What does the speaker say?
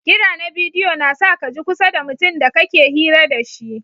Kira na bidiyo na sa ka ji kusa da mutum da ka ke hira da shi.